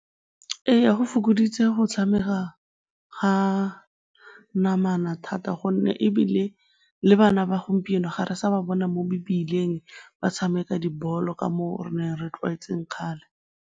Ee, go fokoditse go tshameka ga namana thata gonne ebile le bana ba gompieno ga re sa ba bona mo mebileng ba tshameka dibolo ka moo re neng re tlwaetse kgale.